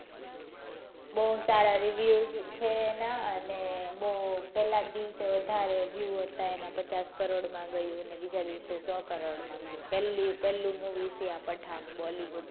બૌ સારા દિવસ reviews છે એના અને બૌ પેલા દિવસે બૌ વધારે view હતા પચાસ કરોડ માં ગયું ને બીજા દીવસે સો કરોડ માં ગયું પેલું movie હશે આ પઠાણ bollywood માં,